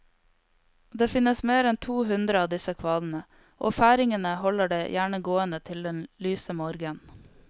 Det finnes mer enn to hundre av disse kvadene, og færingene holder det gjerne gående til den lyse morgen.